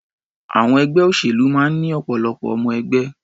Àwọn ẹgbẹ́ òṣèlú máa ń ní ọ̀pọ̀lọpọ̀ ọmọ-ẹgbẹ́.